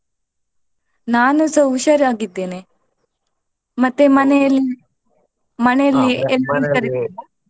ನಾನುಸ ಹುಷಾರಾಗಿದ್ದೇನೆ ಮತ್ತೆ ಮನೆ ಅಲ್ಲಿ ಮನೆ ಅಲ್ಲಿ.